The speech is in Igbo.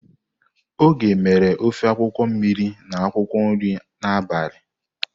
Oge mere ofe akwukwo mmiri na akwukwo nri n'abali.